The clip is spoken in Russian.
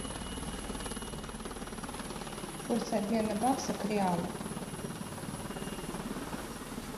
курс обмена бакса к реалу